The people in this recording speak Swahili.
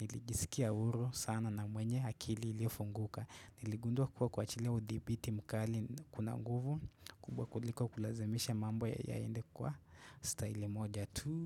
nilijisikia huru sana na mwenye akili ilio funguka Niligundua kuwa kuachilia udhibiti mkali kuna guvu kubwa kuliko kulazimisha mambo ya yaende kwa style moja tu.